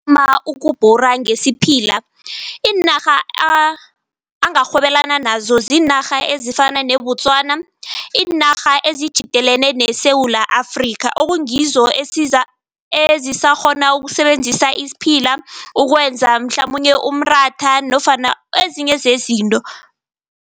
Ukubhura ngesiphila, iinarha angarhwebelana nazo ziinarha ezifana neBotswana, iinarha ezitjhidelene neSewula Afrika okungizo ezisakghona ukusebenzisa isiphila ukwenza mhlamunye umratha nofana ezinye zezinto.